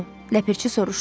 Ləpirçi soruşdu.